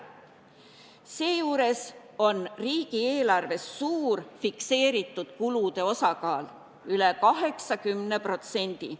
Seejuures on riigieelarves suur fikseeritud kulude osakaal – üle 80%.